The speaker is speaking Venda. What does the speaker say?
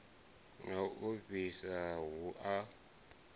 na u ofhisa hu a